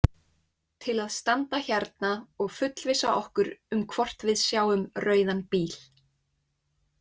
Til að standa hérna og fullvissa okkur um hvort við sjáum rauðan bíl.